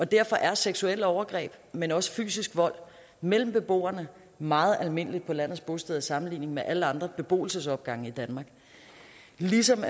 derfor er seksuelle overgreb men også fysisk vold mellem beboerne meget almindelige på landets bosteder sammenlignet med alle andre beboelsesopgange i danmark ligesom